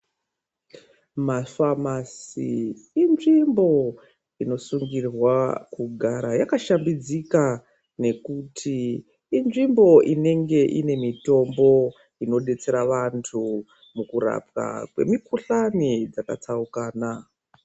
Mafamasi inzvimbo inosungirwa kugara yakashambidzika ngekuti inzvimbo inenge ine mitombo inodetsera vantu mukurapwa kwemikhuhlani dzakatsaukana.